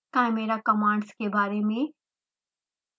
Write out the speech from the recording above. chimera commands के बारे में